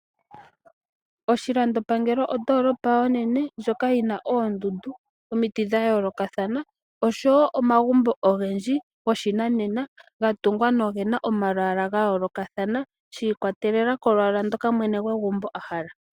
Oshilandopangelo ondolopa onene lyoka yina oondundu, omiti dhayolo kathana oshowo omagumbo ogendji go shinanena gatungwa nogena omalwala gayolo kathana shikwatelela kolwala ndoka mwene gwegumbo a hala.